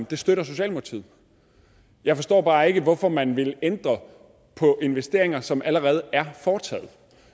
det støtter socialdemokratiet jeg forstår bare ikke hvorfor man vil ændre på investeringer som allerede er foretaget